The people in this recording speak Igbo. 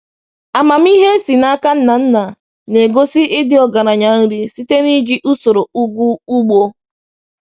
Amamihe e si n’aka nna nna na-egosi ịdị ọgaranya nri site n’iji usoro ugwu ugbo.”